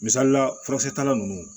Misalila furakisɛ tala ninnu